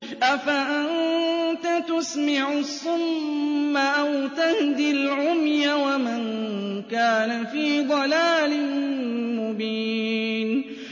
أَفَأَنتَ تُسْمِعُ الصُّمَّ أَوْ تَهْدِي الْعُمْيَ وَمَن كَانَ فِي ضَلَالٍ مُّبِينٍ